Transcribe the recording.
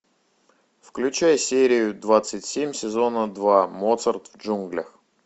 включай серию двадцать семь сезона два моцарт в джунглях